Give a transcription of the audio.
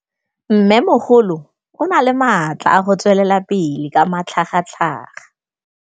Mmêmogolo o na le matla a go tswelela pele ka matlhagatlhaga.